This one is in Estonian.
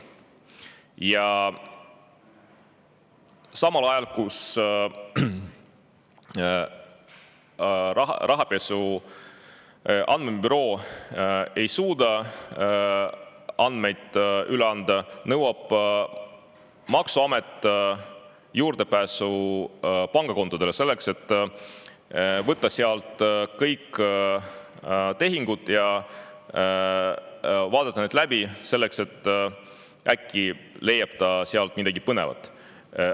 Ja samal ajal, kui rahapesu andmebüroo ei suuda andmeid üle anda, nõuab maksuamet juurdepääsu pangakontodele, et võtta sealt kõik tehingud ja vaadata need läbi – äkki leiab sealt midagi põnevat.